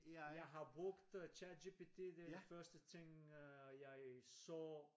Jeg har brugt øh ChatGPT det den første ting øh jeg så